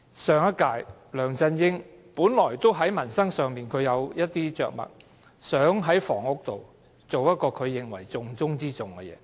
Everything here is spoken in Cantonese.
上一屆，梁振英在民生上本有一些着墨，並視房屋為重中之重的要務。